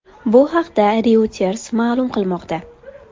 Bu haqda Reuters ma’lum qilmoqda .